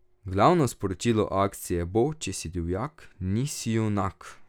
Glavno sporočilo akcije bo Če si divjak, nisi junak!